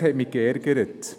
Das hat mich verärgert.